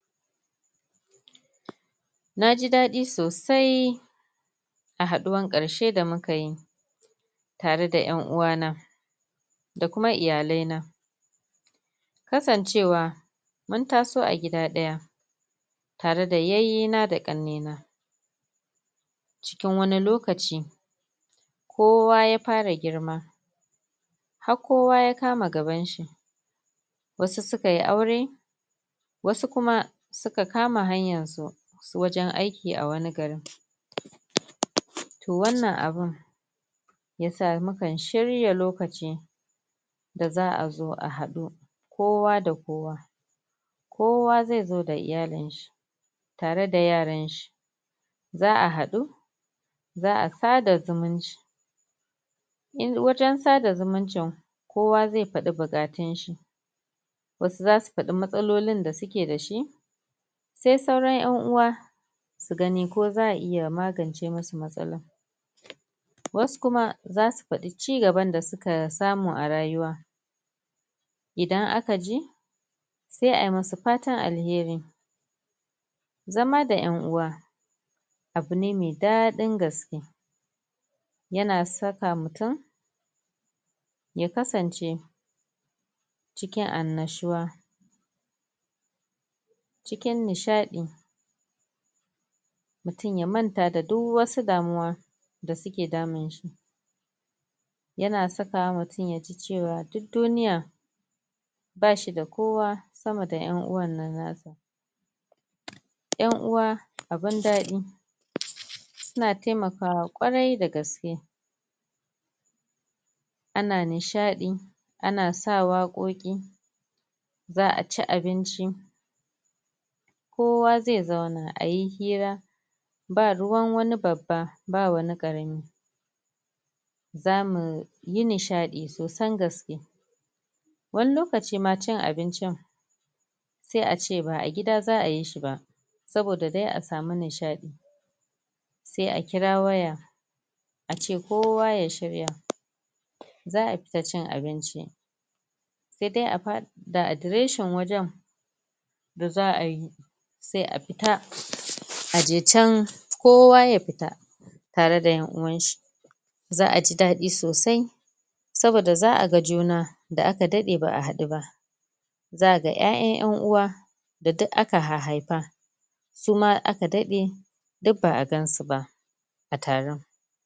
Na ji daɗi sosai, a haɗuwan ƙarshe da muka yi tare da 'yan'uwana, da kuma iyalaina kasancewa mun taso a gida ɗaya, tare da yayyena da ƙannena, cikin wani lokaci kowa ya fara girma ha kowa ya kama gabanshi, wasu suka yi aure wasu kuma suka kama hanyarsu, wajen aiki a wani garin. To wannan abun ya sa mukan shirya lokaci, da za'a zo a haɗu kowa da kowa. Kowa zai zo da iyalinshi, tare da yaranshi za'a haɗu, za'a sada zumunci, wajen sada zumuncin, kowa zai faɗi buƙantunshi, wasu za su faɗi matsalolin da suke da shi sai sauran 'yan'uwa su gani ko za'a iya magance musu matsalolinsu. Wasu kuma za su faɗi ci gaban da suka samu a rayuwa, dan aka ji sai ai musu fatan alheri. Zama da 'ya'uwa, abune mai daɗin gaske, yana saka mutum ya kasance cikin annashuwa, cikin nishaɗi, mutum ya manta da duk wasu damuwa, da suke damun shi. yana sakawa mutum ya ji cewa duk duniya, ba shi da kowa sama da 'yan'uwan nashi. 'Yan'uwa abin daɗi, suna taimakawa ƙwarai da gaske, ana nishaɗi, ana sa waƙoƙi, za'a ci abinci, kowa zai zauna ayi shira, ba ruwan wani babba ba wani ƙarami, Zamu yi ni nishaɗi sosan gaske. Wani lokaci ma ci abincin sai a ce ba a gida za'a yi shi ba saboda dai a samu nishaɗi, sai a kira waya a ce kowa ya shirya, za'a fita cin abinci, ssai dai a ba da adireshin wajen da za'a yi sai a fita a je can kowa ya fita, tare da 'ya'uwanshi. Za'a ji daɗisosai, saboda za'a ga juna da aka daɗe ba'a hadu ba. Za'a ga 'ya'yan 'ya'uwa da duka aka hahhaifa. suma da aka daɗe duk ba'a gansu ba a taron.